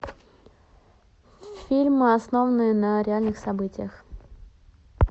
фильмы основанные на реальных событиях